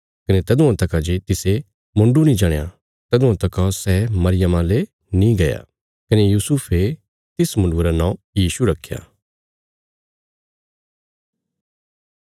कने तदुआं तका जे तिसे मुण्डु नीं जणया तदुआं तका सै मरियमा ले नीं गया कने यूसुफे तिस मुण्डुये रा नौं यीशु रखया